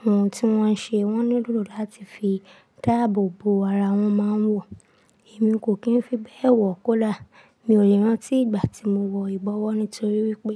ohun tí wọ́n ṣe wọ́n nílò láti fi dáàbò bo ara wọn máa ń wọ. Èmi kò kì n fi bẹ́ẹ̀ wọ kọ́dà, mi ò lè rántí ìgbà tí mo wọ ìbọwọ́ nítorí wípé.